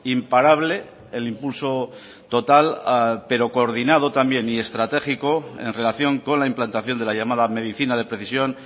imparable el impulso total pero coordinado también y estratégico en relación con la implantación de la llamada medicina de precisión